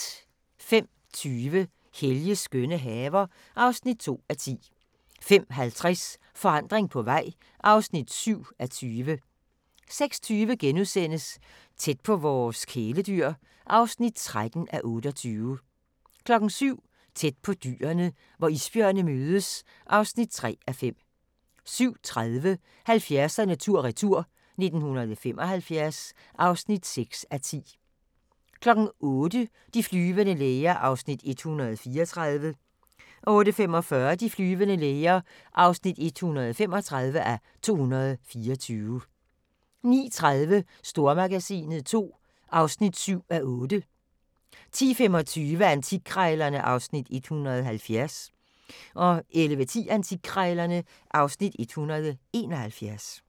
05:20: Helges skønne haver (2:10) 05:50: Forandring på vej (7:20) 06:20: Tæt på vores kæledyr (13:28)* 07:00: Tæt på dyrene: Hvor isbjørne mødes (3:5) 07:30: 70'erne tur-retur: 1975 (6:10) 08:00: De flyvende læger (134:224) 08:45: De flyvende læger (135:224) 09:30: Stormagasinet II (7:8) 10:25: Antikkrejlerne (Afs. 170) 11:10: Antikkrejlerne (Afs. 171)